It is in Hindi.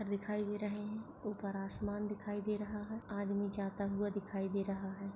पत्थर दिखाई दे रहे है ऊपर आसमान दिखाई दे रहा है आदमी जाता हुआ दिखाई दे रहा है।